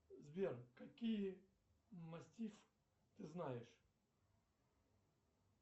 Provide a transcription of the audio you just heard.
сбер какие мастиф ты знаешь